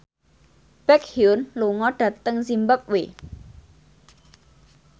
Baekhyun lunga dhateng zimbabwe